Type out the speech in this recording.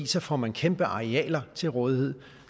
så får man kæmpe arealer til rådighed